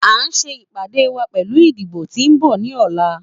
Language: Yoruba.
A n ṣe ipade wa nipa idibo ti n bọ ni ọla.